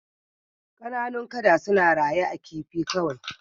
Kananun kada suna raye a kifi kawai